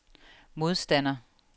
modstander